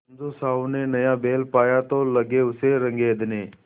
समझू साहु ने नया बैल पाया तो लगे उसे रगेदने